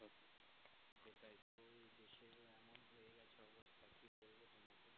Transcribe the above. সেটাইতো ঐ দেশের এমন অবস্থা হয়ে গেছে কি বলবো তোমাকে